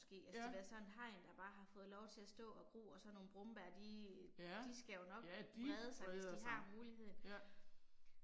Ja. Ja. Ja de breder sig, ja